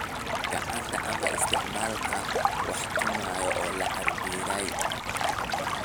Gacanta ama isticmaalka wax tumaya oo la cabbiray.